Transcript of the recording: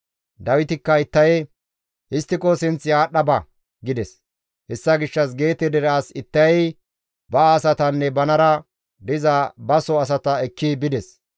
Dawitikka Ittaye, «Histtiko sinth aadhdha ba» gides; hessa gishshas Geete dere as Ittayey ba asatanne banara diza baso asata ekki bides.